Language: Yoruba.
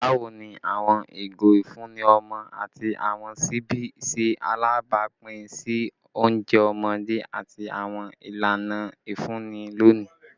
Bawo ni awọn igo ifunni ọmọ ati awọn ṣibi ṣe alabapin si ounjẹ ọmọde ati awọn ilana ifunni loni?